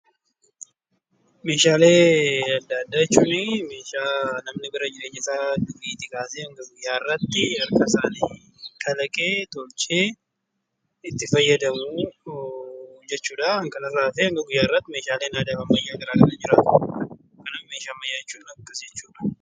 Meeshaalee adda addaa jechuun meeshaa namni bara jireenya isaa duriitii kaasee hamma guyyaa har'aatti harkasa isaatiin kalaqee, tolchee itti fayyadamu jechuu dha. Kan kanarraa hafe hanga guyyaa har'aatti meeshaaleen aadaa fi ammayyaa garaa garaa jiraatu. Kanaaf meeshaaa ammayyaa jechuun akkas jechuu dha.